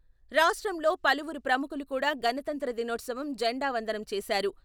రాష్ట్రంలో పలువురు ప్రముఖులు కూడా గణతంత్ర దినోత్సవం జెండా వందనం చేశారు.